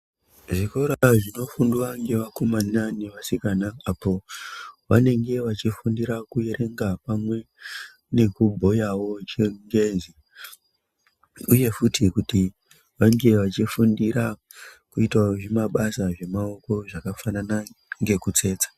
Zvikora zvinofundwa nevakomana nevasikana apo vanenge vachifundira kuverenga pamwe nekubhuyawo chekenje uye futi kuti vange vachifundirawo zvimabasa zvemaoko zvakafanana nekutsetsa.